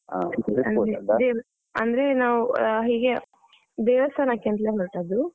ಅಂದ್ರೆ ನಾವು ಹೀಗೆ ದೇವಸ್ಥಾನಕ್ಕೆ ಅಂತ್ಲೇ ಹೊರಟದ್ದು.